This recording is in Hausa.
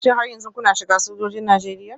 Shin har yanzu kuna shiga sojojin Najeriya?